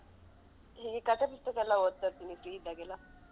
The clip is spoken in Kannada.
ನನ್ಗೆ ಕಥೆ ಪುಸ್ತಕಯೆಲ್ಲ ಓದ್ತಾಯಿರ್ತೇನೆ free ಇದ್ದಾಗ ಎಲ್ಲ.